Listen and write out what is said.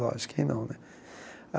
Lógico que não, né?